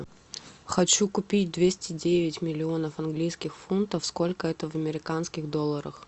хочу купить двести девять миллионов английских фунтов сколько это в американских долларах